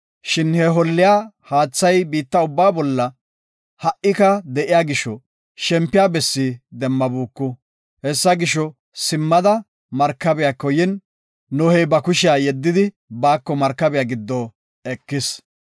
Shin he holliya haathay biitta ubbaa bolla ha7ika de7iya gisho, shempiya bessi demmabuku. Hessa gisho, simmada, markabiyako yin, Nohey ba kushiya yeddidi, baako markabiya giddo ekis.